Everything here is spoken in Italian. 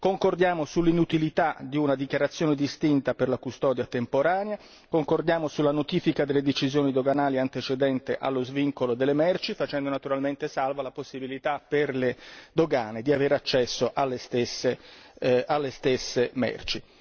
Concordiamo sull'inutilità di una dichiarazione distinta per la custodia temporanea, così come sulla notifica delle decisioni doganali antecedente allo svincolo delle merci, facendo salva la possibilità per le dogane di aver accesso alle stesse merci.